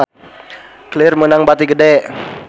Clear meunang bati gede